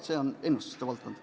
See on ennustuste valdkond.